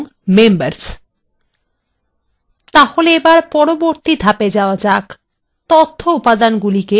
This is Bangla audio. তাহলে এবার আমাদের পরবর্তী ধাপে যাওয়া যাক : তথ্য উপাদানগুলিকে কলামে পরিবর্তন করা